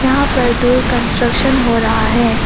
यहां पर दूर कंस्ट्रक्शन हो रहा है।